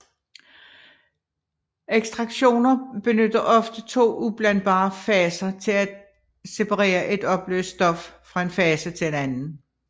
Ekstraktioner benytter ofte to ublandbare faser til at separere et opløst stof fra en fase til en anden